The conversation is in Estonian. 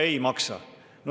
No ei maksa.